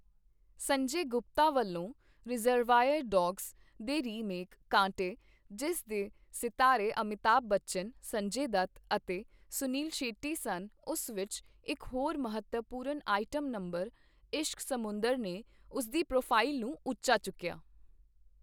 ਸੰਜੇ ਗੁਪਤਾ ਵੱਲੋਂ "Reservoir Dogs" ਦੇ remake "Kaante" ਜਿਸ ਦੇ ਸਿਤਾਰੇ ਅਮਿਤਾਭ ਬੱਚਨ, ਸੰਜੇ ਦੱਤ ਅਤੇ ਸੁਨੀਲ ਸ਼ੈੱਟੀ ਸਨ, ਉਸ ਵਿੱਚ ਇੱਕ ਹੋਰ ਮਹੱਤਵਪੂਰਨ ਆਈਟਮ ਨੰਬਰ "ਇਸ਼ਕ ਸਮੁੰਦਰ" ਨੇ ਉਸਦੀ ਪ੍ਰੋਫਾਈਲ ਨੂੰ ਉੱਚਾ ਚੁੱਕੀਆ